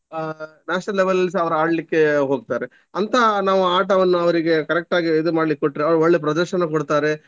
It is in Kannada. ಅಹ್ national level ಲಲ್ಲಿ ಸಹ ಅವರ್ ಆಡ್ಲಿಕ್ಕೆ ಹೋಗ್ತಾರೆ. ಅಂತ ನಾವು ಆಟವನ್ನು ಅವರಿಗೆ correct ಆಗಿ ಇದು ಮಾಡ್ಲಿಕ್ಕೆ ಕೊಟ್ರೆ ಅವರು ಒಳ್ಳೆ ಪ್ರದರ್ಶನ ಕೊಡ್ತಾರೆ.